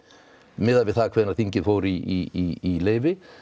miðað við það hvenær þingið fór í leyfi